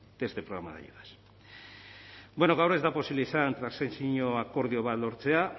de este programa de ayudas bueno gaur ez da posible izan transakzio akordio bat lortzea